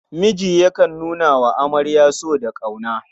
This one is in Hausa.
Miji yakan nuna wa amarya so da ƙauna.